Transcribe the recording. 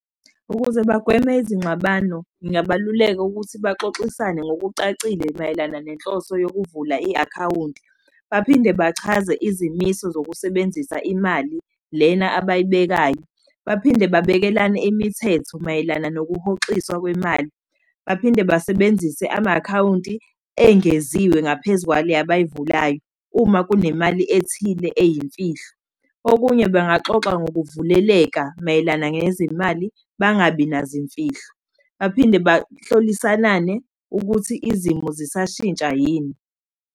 Ukuze bagweme izingxabano, kungabaluleka ukuthi baxoxisane ngokucacile mayelana nenhloso yokukuvula i-akhawunti. Baphinde bachaze izimiso zokusebenzisa imali, lena abayibekayo. Baphinde babekelane imithetho mayelana nokuhoxiswa kwemali. Baphinde basebenzise ama-akhawunti engeziwe ngaphezu kwale abayivulayo uma kunemali ethile eyimfihlo. Okunye, bengaxoxa ngokuvuleleka mayelana ngezimali, bangabi nazo iy'mfihlo. Baphinde bahlolisanane ukuthi izimo zisashintsha yini.